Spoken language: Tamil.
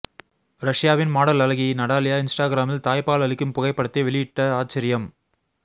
ரஷ்யாவின் மாடல் அழகி நடாலியா இன்ஸ்டாகிராமில் தாய்ப்பால் அளிக்கும் புகைப்படத்தை வெளியிட்ட ஆச்சரியம்